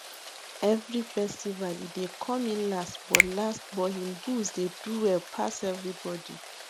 every festival e dey come in last but last but him bulls dey do well pass everybody